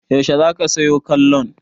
Yaushe za ka sayo kollon?